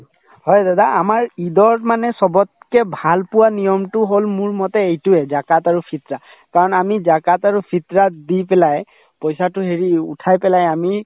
হয় দাদা আমাৰ ঈদত মানে চবতকে ভাল পোৱা নিয়মতো হল মোৰমতে এইটোয়ে জাকাত আৰু ফিত্ৰাহ কাৰণ আমি জাকাত আৰু ফিত্ৰাহ দি পেলাই পইচাতো হেৰি উঠাই পেলাই আমি